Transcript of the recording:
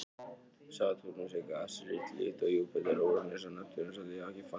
Satúrnus er gasrisi líkt og Júpíter, Úranus og Neptúnus og hefur því ekkert fast yfirborð.